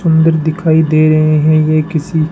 सुंदर दिखाई दे रहे हैं ये किसी--